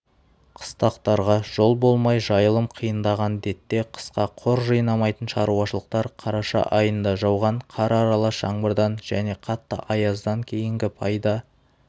қыстақтарға жол болмай жайылым қиындаған детте қысқа қор жинамайтын шаруашылықтар қараша айында жауған қар аралас жаңбырдан жне қатты аяздан кейінгі пайда